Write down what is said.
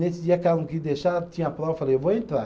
Nesse dia que ela não queria deixar, tinha prova, eu falei, vou entrar.